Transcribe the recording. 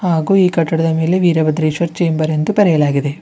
ಹಾಗು ಕಟ್ಟಡದ ಮೇಲೆ ವೀರಭದ್ರೇಶ್ವರ ಚೇಂಬರ್ಸ್ ಎಂದು ಬರೆಯಲಾಗಿದೆ.